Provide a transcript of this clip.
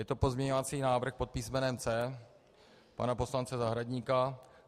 Je to pozměňovací návrh pod písmenem C pana poslance Zahradníka.